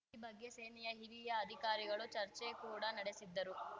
ಈ ಬಗ್ಗೆ ಸೇನೆಯ ಹಿರಿಯ ಅಧಿಕಾರಿಗಳು ಚರ್ಚೆ ಕೂಡಾ ನಡೆಸಿದ್ದರು